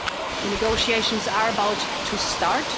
The negotiations are about to start.